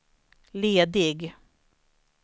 ledig